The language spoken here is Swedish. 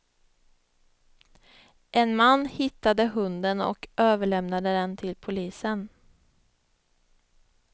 En man hittade hunden och överlämnade den till polisen.